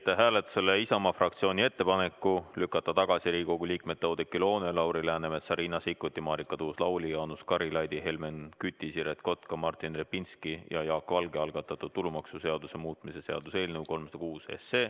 Panen hääletusele Isamaa fraktsiooni ettepaneku lükata tagasi Riigikogu liikmete Oudekki Loone, Lauri Läänemetsa, Riina Sikkuti, Marika Tuus-Lauli, Jaanus Karilaidi, Helmen Küti, Siret Kotka, Martin Repinski ja Jaak Valge algatatud tulumaksuseaduse muutmise seaduse eelnõu 306.